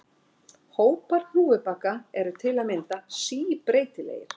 hópar hnúfubaka eru til að mynda síbreytilegir